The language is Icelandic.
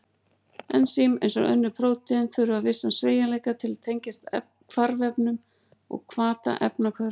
Ensím, eins og önnur prótín, þurfa vissan sveigjanleika til að tengjast hvarfefnum og hvata efnahvörf.